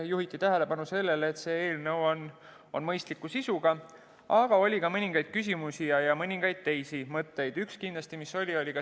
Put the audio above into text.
Juhiti tähelepanu sellele, et eelnõu on mõistliku sisuga, aga oli ka mõningaid küsimusi ja teisi mõtteid.